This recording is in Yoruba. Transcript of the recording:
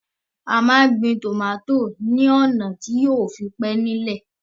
A máa gbin tòmátò ní ọ̀nà tí yóò fi máa pé nílẹ̀